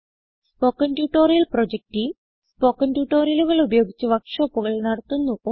spoken tutorial project team spoken ട്യൂട്ടോറിയലുകൾ ഉപയോഗിച്ച് വർക്ക് ഷോപ്പുകൾ നടത്തുന്നു